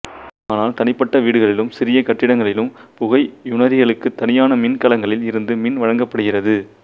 ஆனால் தனிப்பட்ட வீடுகளிலும் சிறிய கட்டிடங்களிலும் புகையுணரிகளுக்குத் தனியான மின்கலங்களில் இருந்து மின் வழங்கப்படுகிறது